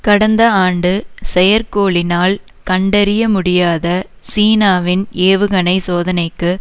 கடந்த ஆண்டு செயற்கோளினால் கண்டறிய முடியாத சீனாவின் ஏவுகணை சோதனைக்கு